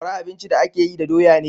Sakwara abinci da a ke yi da doya ne